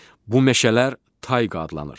Bu meşələr tayqa adlanır.